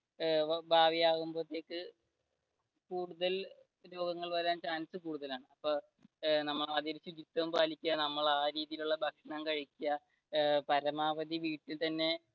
ഏർ ഭാവിയാകുമ്പോഴെത്തെക്ക് കൂടുതൽ രോഗങ്ങൾ വരാനുള്ള കൂടുതലാണ് ആ രീതിയിൽ ഉള്ള ഭക്ഷണം കഴിക്കുക പരമാവധി വീട്ടിൽ തന്നെ